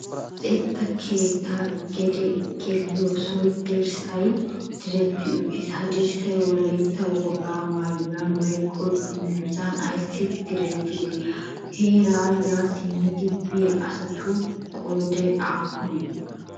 Luxeta keetta gede geliyyosay dirssan direrti uttiis. Ha dirssay wolaytta wogaa maayuwan woykko dungguzzan ayssi direttide? Haaara ya simmidi biya asatu qooday aappune?